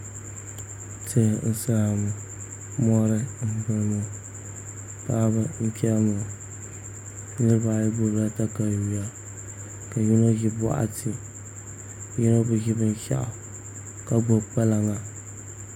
Tihi n saya ŋo mori n boŋo paɣaba n chɛni ŋo niraba ayi gbubila katawiya ka yino ʒi boɣati yino bi ʒi binshaɣu ka gbubi kpalaŋa